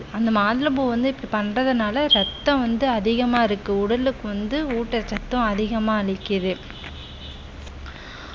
அந்த மாதுளம்பூ வந்து இப்படி பண்றதுனால ரத்தம் வந்து அதிகமா இருக்கு உடலுக்கு வந்து ஊட்டச்சத்தும் அதிகமா அளிக்குது